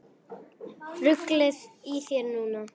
Ruglið í þér núna!